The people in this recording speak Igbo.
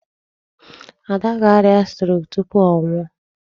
Ada ga-arịa 'stroke' tupu ọ nwụọ.